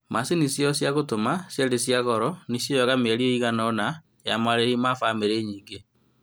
Macini ciao cia gũtuma ciarĩ cia goro, nĩcioyaga mĩeri ĩigana ona ya marĩhi ma bamĩrĩ nyingĩ